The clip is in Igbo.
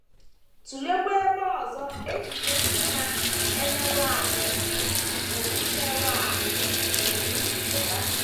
Tụleekwa ebe ọzọ echiche ndị na - emerụ ahụ pụrụ emerụ ahụ pụrụ isi pụta.